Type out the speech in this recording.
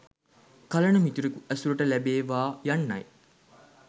කලණ මිතුරෙකු ඇසුරට ලැබේවා යන්නයි.